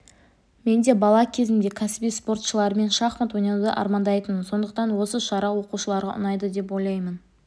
мен де бала кезімде кәсіби спортшылармен шахмат ойнауды армандайтынмын сондықтан осы шара оқушыларға ұнайды деп ойлаймын